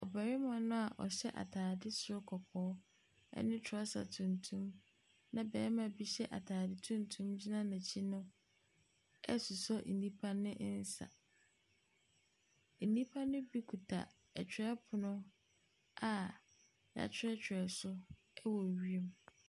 Ɔbarima no a ɔhyɛ soro kɔkɔɔ ne trɔsa tuntum na barima bi hyɛ atade tuntum gyina n'akyi no asosɔ nnipa no nsa. Nnipa no bi kuta twerɛpono a wɔretwerɛtwerɛ so wɔ wiem.